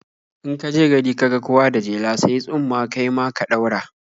In ka je gari ka ga kowa da jela, sayi tsumma kai ma ka ɗaura.